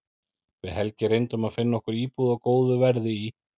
Við Helgi reyndum að finna okkur íbúð á góðu verði í